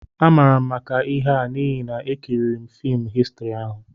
Amaara m maka ihe a n'ihi na ekiriri m fim Histrị ahụ